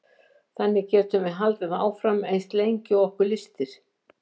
Þannig getum við haldið áfram eins lengi og okkur lystir.